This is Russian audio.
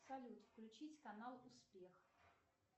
салют включить канал успех